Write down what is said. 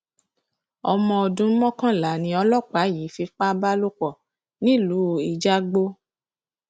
ọmọ ọdún mọkànlá ni ọlọpàá yìí fipá bá lò pọ nílùú ijagbó